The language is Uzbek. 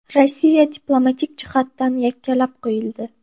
Rossiya diplomatik jihatdan yakkalab qo‘yildi.